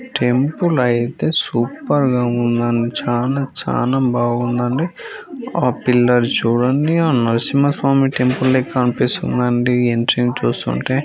Temple అయితే super గా ఉందన్న చానా చానా బాగుందండి ఆ పిల్లర్ చూడండి ఆ నరసింహస్వామి టెంపుల్ లెక్క అనిపిస్తుంది అండి ఎంట్రన్స్ చూస్తుంటే.